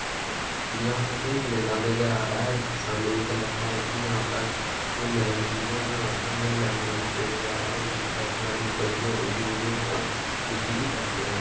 यहां हमें एक मैदान नजर आ रहा है। सामने देखकर लगता है कि कोइ यहाँ पर हमें लंबे-लंबे पेड़ नज़र आ रहे हैं जिनकी पत्तियां भी ऊपर की ओर उठी हुई हैं और नुकीली पत्तियां हैं।